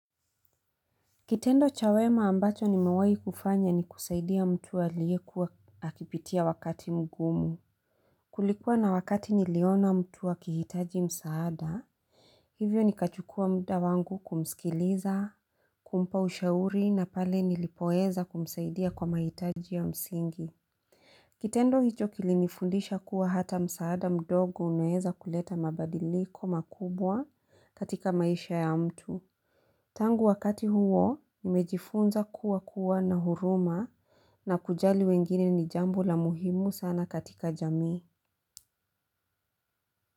Kitendo cha wema ambacho nimewai kufanya ni kusaidia mtu aliyekuwa akipitia wakati mgumu. Kulikuwa na wakati niliona mtu akihitaji msaada. Hivyo nikachukua mda wangu kumsikiliza, kumpa ushauri na pale nilipoweza kumsaidia kwa mahitaji ya msingi. Kitendo hicho kilinifundisha kuwa hata msaada mdogo unaeza kuleta mabadiliko makubwa katika maisha ya mtu. Tangu wakati huo, nimejifunza kuwa kuwa na huruma na kujali wengine ni jambo la muhimu sana katika jamii.